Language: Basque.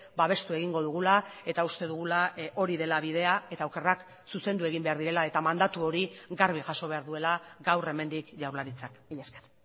babestu egingo dugula eta uste dugula hori dela bidea eta okerrak zuzendu egin behar direla eta mandatu hori garbi jaso behar duela gaur hemendik jaurlaritzak mila esker